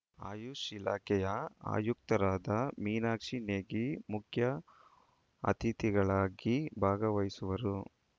ಆಯುಷ್ ಇಲಾಖೆಯ ಆಯುಕ್ತರಾದ ಮೀನಾಕ್ಷಿ ನೇಗಿ ಮುಖ್ಯ ಅತಿಥಿಗಳಾಗಿ ಭಾಗವಹಿಸುವರು